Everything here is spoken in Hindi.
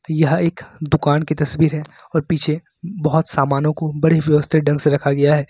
यह एक दुकान की तस्वीर है और पीछे बहोत सामानों को बड़े व्यवस्थित ढंग से रखा गया है।